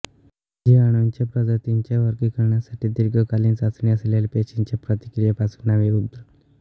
जीवाणूंच्या प्रजातींच्या वर्गीकरणासाठी दीर्घकालीन चाचणी असलेल्या पेशींच्या प्रतिक्रियेपासून नावे उद्भवली